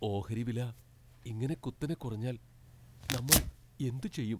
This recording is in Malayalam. ഓഹരി വില ഇങ്ങനെ കുത്തനെ കുറഞ്ഞാൽ നമ്മൾ എന്തു ചെയ്യും?